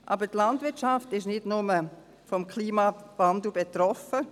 Aber die Landwirtschaft ist nicht nur vom Klimawandel betroffen.